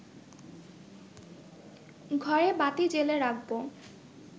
ঘরে বাতি জ্বেলে রাখব